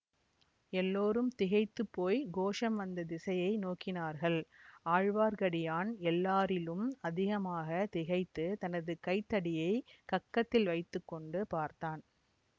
எல்லோரும் திகைத்து போய் கோஷம் வந்த திசையை நோக்கினார்கள் ஆழ்வார்க்கடியான் எல்லாரிலும் அதிகமாக திகைத்துத் தனது கை தடியைக் கக்கத்தில் வைத்து கொண்டு பார்த்தான்